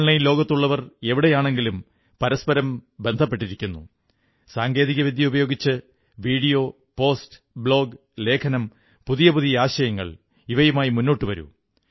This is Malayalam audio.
ഓൺലൈൻ ലോകത്തുള്ളവർ എവിടെയാണെങ്കിലും പരസ്പരം ബന്ധപ്പെട്ടിരിക്കുന്നു സാങ്കേതികവിദ്യ ഉപയോഗിച്ച് വീഡിയോ പോസ്റ്റ് ബ്ലോഗ് ലേഖനം പുതിയ പുതിയ ആശയങ്ങൾ ഇവയുമായി മുന്നോട്ടുവരൂ